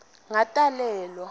ngatalelwa